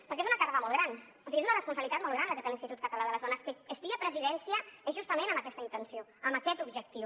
perquè és una càrrega molt gran o sigui és una responsabilitat molt gran la que té l’institut català de les dones que estigui a presidència és justament amb aquesta intenció amb aquest objectiu